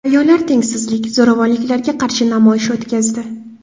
Ayollar tengsizlik, zo‘ravonliklarga qarshi namoyish o‘tkazdi.